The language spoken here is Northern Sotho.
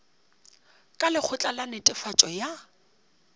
ka lekgotla la netefatšo ya